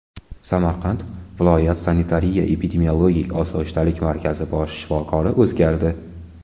Samarqand viloyat sanitariya-epidemiologik osoyishtalik markazi bosh shifokori o‘zgardi.